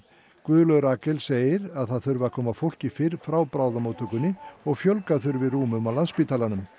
Guðlaug Rakel segir að það þurfi að koma fólki fyrr frá bráðamóttökunni og fjölga þurfi rúmum á Landspítalanum